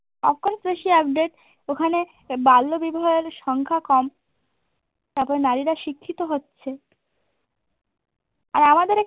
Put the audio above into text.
Of course বেশি update ওখানে বাল্যবিবাহের সংখ্যা কম তারপর নারীরা শিক্ষিত হচ্ছে আর আমাদের